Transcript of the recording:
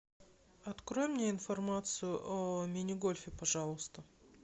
открой мне информацию о мини гольфе пожалуйста